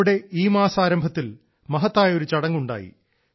അവിടെ ഈ മാസത്തെ ആരംഭത്തിൽ മഹത്തായ ഒരു ചടങ്ങ് ഉണ്ടായി